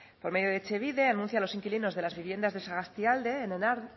por medio de etxebide anuncia a los inquilinos de las viviendas de sagastialde